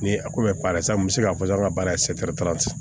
Ni a ko bɛ baara la sisan n bɛ se k'a fɔ baara in